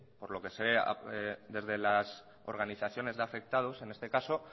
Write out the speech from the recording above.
por lo que se ve desde las organizaciones de afectados en este caso